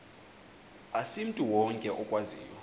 asimntu wonke okwaziyo